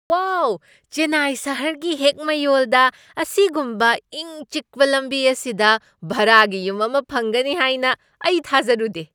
ꯋꯥꯎ! ꯆꯦꯟꯅꯥꯏ ꯁꯍꯔꯒꯤ ꯍꯦꯛ ꯃꯌꯣꯜꯗ ꯑꯁꯤꯒꯨꯝꯕ ꯏꯪ ꯆꯤꯛꯄ ꯂꯝꯕꯤ ꯑꯁꯤꯗ ꯚꯔꯥꯒꯤ ꯌꯨꯝ ꯑꯃ ꯐꯪꯒꯅꯤ ꯍꯥꯏꯅ ꯑꯩ ꯊꯥꯖꯔꯨꯗꯦ꯫